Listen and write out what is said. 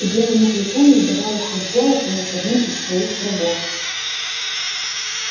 и белому клыку не удавалось разделаться ни с одним из своих врагов